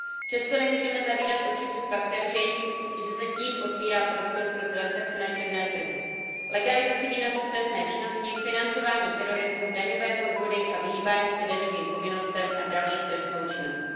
Přesto nemůžeme zavírat oči před faktem, že se tím otevírá prostor pro transakce na černém trhu legalizaci výnosu z trestné činnosti, financování terorismu, daňové podvody a vyhýbání se daňovým povinnostem a další trestnou činnost.